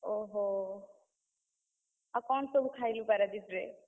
ଓହୋ! ଆଉ କଣ ସବୁ ଖାଇଲୁ ପାରାଦ୍ୱୀପରେ?